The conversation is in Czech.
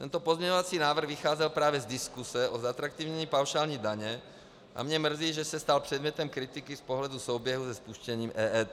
Tento pozměňovací návrh vycházel právě z diskuse o zatraktivnění paušální daně a mě mrzí, že se stal předmětem kritiky z pohledu souběhu se spuštěním EET.